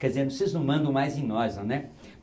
Quer dizer, vocês não mandam mais em nós, né?